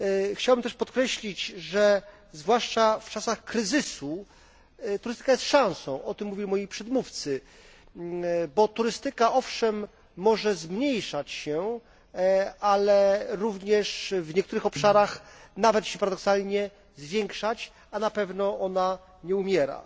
Chciałbym też podkreślić, że zwłaszcza w czasach kryzysu turystyka jest szansą o tym mówili moi przedmówcy bo turystyka, owszem, może zmniejszać się, ale również w niektórych obszarach nawet się paradoksalnie zwiększać, a na pewno ona nie umiera.